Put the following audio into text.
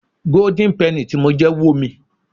Golden penny tí mo jẹ wo mi.